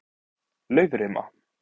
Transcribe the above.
Laufrima